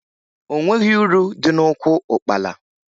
O nweghi uru dị n'ụkwụ ụkpala